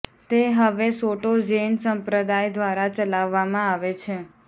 તે હવે Soto Zen સંપ્રદાય દ્વારા ચલાવવામાં આવે છે